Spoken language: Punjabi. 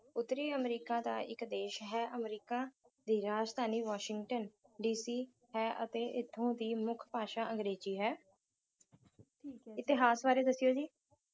ਉਤਰੀ ਅਮਰੀਕਾ ਦਾ ਇਕ ਦੇਸ਼ ਹੈ ਅਮਰੀਕਾ ਦੀ ਰਾਜਧਾਨੀ ਵਾਸ਼ਿੰਗਟਨ DC ਹੈ ਅਤੇ ਇਥੋਂ ਦੀ ਮੁੱਖ ਭਾਸ਼ਾ ਅੰਗਰੇਜ਼ੀ ਹੈ ਇਤਿਹਾਸ ਬਾਰੇ ਦੱਸਿਓ ਜੀ